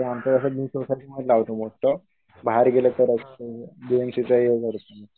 बाहेर गेलं तरच